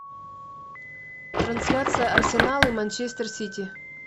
трансляция арсенал и манчестер сити